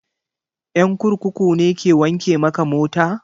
Ƴan kurkuku ne ke wanke maka mota?